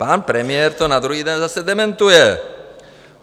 Pan premiér to na druhý den zase dementuje.